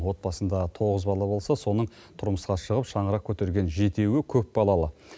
отбасында тоғыз бала болса соның тұрмысқа шығып шаңырақ көтерген жетеуі көпбалалы